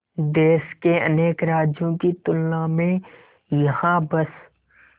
देश के अनेक राज्यों की तुलना में यहाँ बस